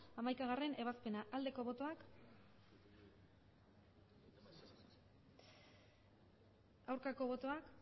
hamaikagarrena ebazpena aldeko botoak aurkako botoak